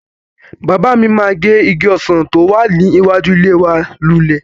Bàbá mi máa gé igi ọsàn tí ó wà níwájú ilé wa lulẹ̀.